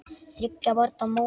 Þriggja barna móðir.